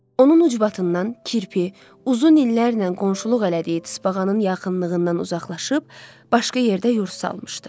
Onun ucbatından kirpi uzun illərnən qonşuluq elədiyi tısbağanın yaxınlığından uzaqlaşıb, başqa yerdə yurd salmışdı.